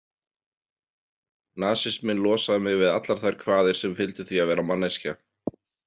Nasisminn losaði mig við allar þær kvaðir sem fylgdu því að vera manneskja.